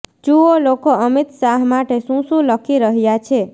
જુઓ લોકો અમિત શાહ માટે શુ શુ લખી રહ્યા છે